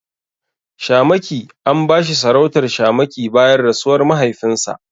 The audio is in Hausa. Shamaki An bashi sarautar shamaki bayan rasuwar mahaifinsa.